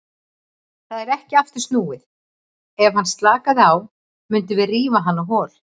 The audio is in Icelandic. Það er ekki aftur snúið, ef hann slakaði á mundum við rífa hann á hol.